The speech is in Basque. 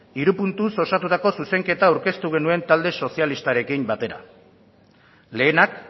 hiru puntuz osatutako zuzenketa aurkeztu genuen talde sozialistarekin batera lehenak